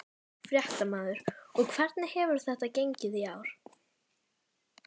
Fréttamaður: Og hvernig hefur þetta gengið í ár?